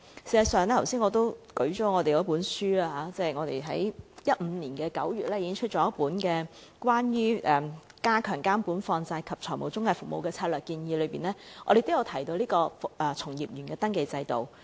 事實上，在我剛才提及我們在2015年9月推出的那份《加強監管放債及財務中介服務的策略建議》中，我們也有提及從業員登記制度。